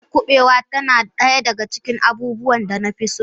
Miyar kubewa tana daya daga cikin abubuwan da na fi so.